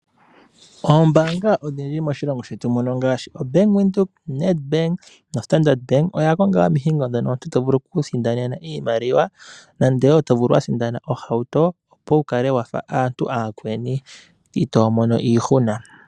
Oombanga odhindji moshilongo shetu muno ngaashi, oBank Windhoek, Nedbank noStandard bank, oya konga omihingo ndhono omuntu to vulu okuisindanena iimaliwa, nande wo to vulu wu sindana ohauto, opo wu kale wafa aantu aakweni, ito mono iihuna.